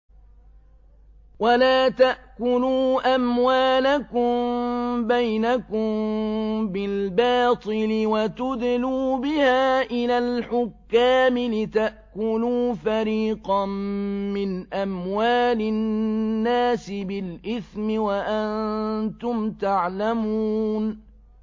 وَلَا تَأْكُلُوا أَمْوَالَكُم بَيْنَكُم بِالْبَاطِلِ وَتُدْلُوا بِهَا إِلَى الْحُكَّامِ لِتَأْكُلُوا فَرِيقًا مِّنْ أَمْوَالِ النَّاسِ بِالْإِثْمِ وَأَنتُمْ تَعْلَمُونَ